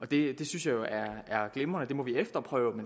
det synes jeg jo er glimrende det må vi efterprøve